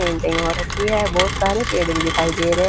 पेंटिंग हो रखी ह बहुत सारे पेड़ भी दिखाई दे रहे --